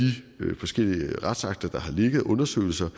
forskellige retsakter og undersøgelser